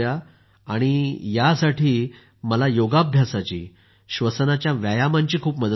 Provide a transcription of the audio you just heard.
आणि यासाठी मला योगाभ्यासाची श्वसनाच्या व्यायामांची खूपच मदत झाली